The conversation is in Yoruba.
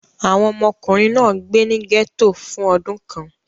Àwọn ọmọkùnrin náà gbé ní gẹ́tò fún ọdún kan.